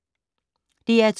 DR2